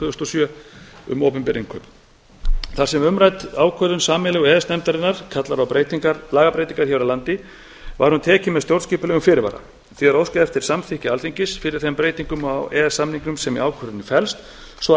þúsund og sjö um opinber innkaup þar sem umrædd ákvörðun sameiginlegu e e s nefndarinnar kallar á lagabreytingar hér á landi var hún tekin með stjórnskipulegum fyrirvara því er óskað eftir samþykki alþingis fyrir þeim breytingum á e e s samningnum sem í ákvörðuninni felst svo